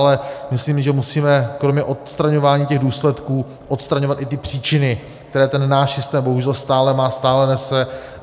Ale myslím, že musíme kromě odstraňování těch důsledků odstraňovat i ty příčiny, které ten náš systém bohužel stále má, stále nese.